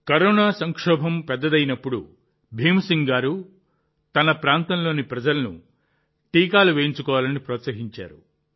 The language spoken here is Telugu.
కరోనా సంక్షోభం పెద్దదవుతున్నప్పుడు భీమ్ సింగ్ గారు తన ప్రాంతంలోని ప్రజలను టీకాలు వేసుకోవాలని ప్రోత్సహించారు